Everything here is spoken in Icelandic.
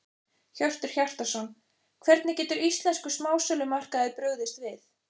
Hjörtur Hjartarson: Hvernig getur íslenskur smásölumarkaður brugðist við?